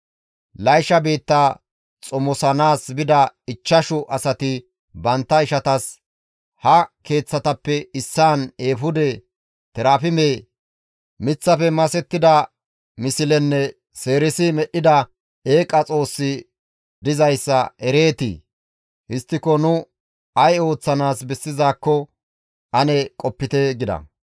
Laysha biitta xomosanaas bida ichchashu asati bantta ishatas, «Ha keeththatappe issaan eefude, terafime, miththafe masettida mislenne seerisi medhdhida eeqa xoossi dizayssa ereetii? Histtiko nu ay ooththanaas bessizaakko ane qopite» gida.